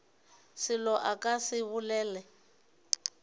selo a ka se bolele